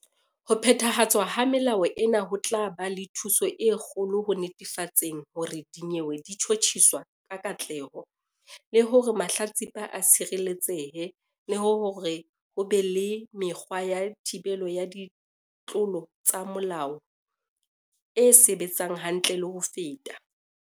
"Ho phethahatswa ha melao ena ho tla ba le thuso e kgolo ho netefatseng hore dinyewe di tjhotjhiswa ka katleho, le hore mahlatsipa a tshireletsehe le hore ho be le mekgwa ya thibelo ya ditlolo tsa molao e sebetsang hantle le ho feta."